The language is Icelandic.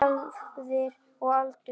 Erfðir og aldur